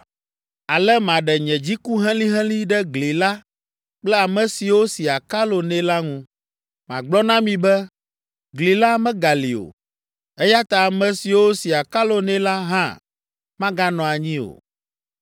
Ale maɖe nye dziku helĩhelĩ ɖe gli la kple ame siwo si akalo nɛ la ŋu. Magblɔ na mi be, “Gli la megali o, eya ta ame siwo si akalo nɛ la hã maganɔ anyi o.